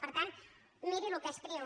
per tant miri el que escriu